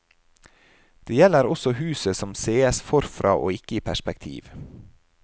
Det gjelder også huset som sees forfra og ikke i perspektiv.